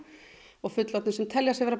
og fullorðnir sem telja sig vera